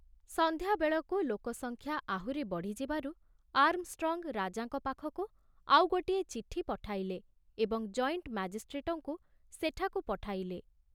ସନ୍ଧ୍ୟାବେଳକୁ ଲୋକସଂଖ୍ୟା ଆହୁରି ବଢ଼ିଯିବାରୁ ଆର୍ମଷ୍ଟ୍ରଙ୍ଗ ରାଜାଙ୍କ ପାଖକୁ ଆଉ ଗୋଟିଏ ଚିଠି ପଠାଇଲେ ଏବଂ ଜଏଣ୍ଟ ମାଜିଷ୍ଟ୍ରେଟଙ୍କୁ ସେଠାକୁ ପଠାଇଲେ।